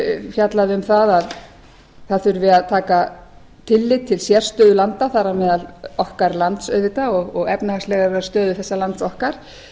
fjallað um að það þurfi að taka tillit til sérstöðu landa þar á meðal okkar lands auðvitað og efnahagslegrar stöðu þessa lands okkar